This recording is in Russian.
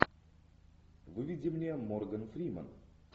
выведи мне морган фримен